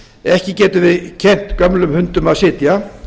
matgræðgina ekki getum við kennt gömlum hundum að sitja